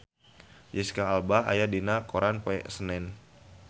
Jesicca Alba aya dina koran poe Senen